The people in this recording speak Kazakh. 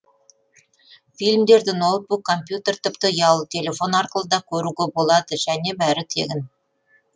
фильмдерді ноутбук компьютер тіпті ұялы телефон арқылы да көруге болады және бәрі тегін